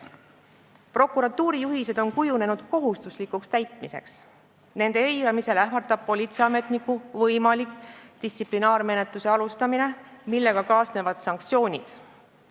Prokuratuuri juhised on kujunenud kohustuslikuks täitmiseks, nende eiramisel ähvardab politseiametnikku distsiplinaarmenetlus, millega kaasnevad sanktsioonid.